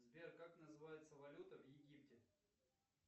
сбер как называется валюта в египте